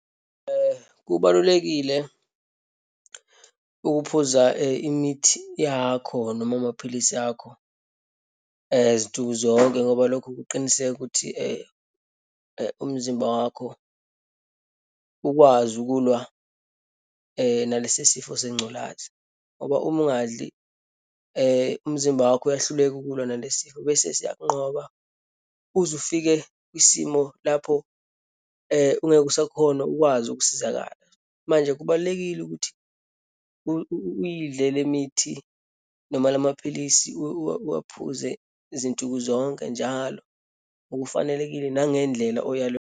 Kubalulekile ukuphuza imithi yakho noma amaphilisi akho, zinsuku zonke ngoba lokho kuqiniseka ukuthi umzimba wakho ukwazi ukulwa nalesi sifo sengculazi. Ngoba uma ungadli umzimba wakho uyahluleka ukulwa nalesi sifo, bese siyakunqoba uze ufike kwisimo lapho ungeke usakhona ukwazi ukusizakala. Manje, kubalulekile ukuthi uyidle lemithi noma lamaphilisi, uwaphuze zinsuku zonke njalo, ngokufanelekile nangendlela oyayelwe.